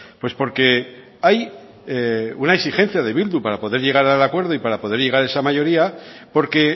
pues porque hay una exigencia de bildu para poder llegar al acuerdo y para poder llegar a esa mayoría porque